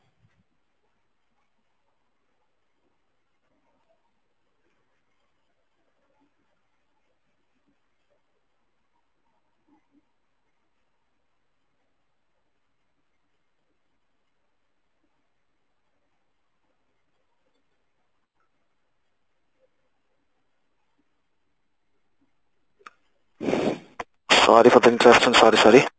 sorry for the sorry sorry